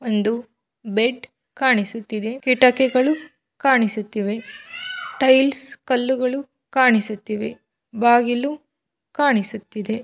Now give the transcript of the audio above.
ಒಂದು ಬೆಡ್ ಕಾಣಿಸುತ್ತಿದ್ದೆ ಕಿಟಿಕೆಗಳು ಕಾಣಿಸುತ್ತಿವೆ ಟೈಲ್ಸ್ ಕಲ್ಲುಗಳು ಕಾಣಿಸುತ್ತಿವೆ ಬಾಗಿಲು ಕಾಣಿಸುತ್ತಿದ್ದೆ.